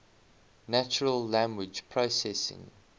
natural language processing